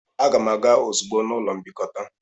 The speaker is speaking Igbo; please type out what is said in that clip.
Aga m aga ozugbo na ụlọ mbikọ taa.